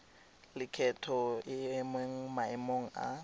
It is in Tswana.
lekgetho e mo maemong a